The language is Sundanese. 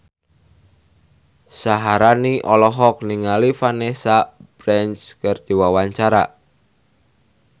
Syaharani olohok ningali Vanessa Branch keur diwawancara